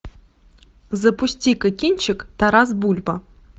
запусти ка кинчик тарас бульба